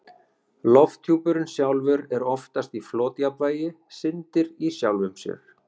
Lofthjúpurinn sjálfur er oftast í flotjafnvægi, syndir í sjálfum sér.